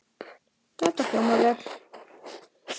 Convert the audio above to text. Þetta hljómar vel.